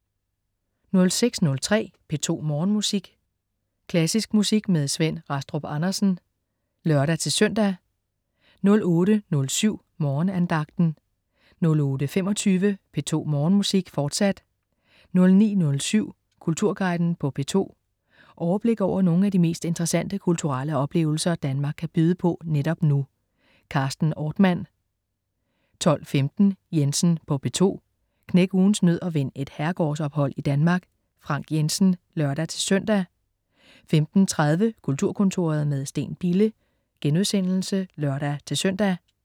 06.03 P2 Morgenmusik. Klassisk musik med Svend Rastrup Andersen (lør-søn) 08.07 Morgenandagten 08.25 P2 Morgenmusik, fortsat 09.07 Kulturguiden på P2. Overblik over nogle af de mest interessante kulturelle oplevelser, Danmark kan byde på netop nu. Carsten Ortmann 12.15 Jensen på P2. Knæk ugens nød og vind et herregårdsophold i Danmark. Frank Jensen (lør-søn) 15.30 Kulturkontoret med Steen Bille* (lør-søn)